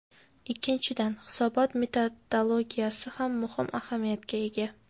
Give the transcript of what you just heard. Ikkinchidan, hisobot metodologiyasi ham muhim ahamiyatga ega.